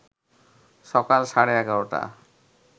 সকাল সাড়ে ১১টা